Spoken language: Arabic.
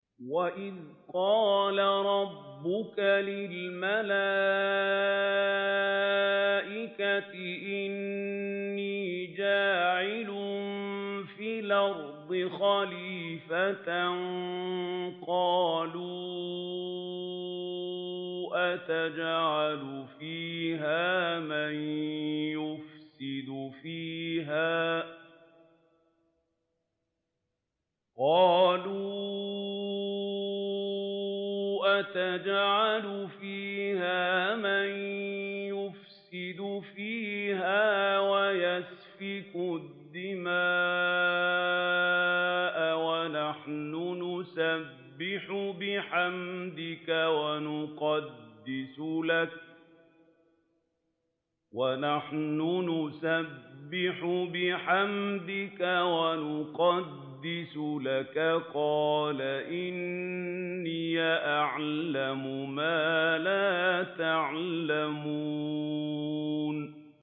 وَإِذْ قَالَ رَبُّكَ لِلْمَلَائِكَةِ إِنِّي جَاعِلٌ فِي الْأَرْضِ خَلِيفَةً ۖ قَالُوا أَتَجْعَلُ فِيهَا مَن يُفْسِدُ فِيهَا وَيَسْفِكُ الدِّمَاءَ وَنَحْنُ نُسَبِّحُ بِحَمْدِكَ وَنُقَدِّسُ لَكَ ۖ قَالَ إِنِّي أَعْلَمُ مَا لَا تَعْلَمُونَ